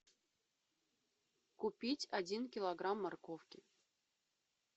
купить один килограмм морковки